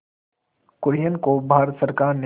कुरियन को भारत सरकार ने